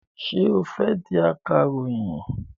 Ṣé o fẹ́ di akàròyìn?